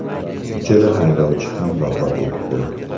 Uchala haydovchi ham vafot etdi.